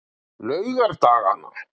laugardagana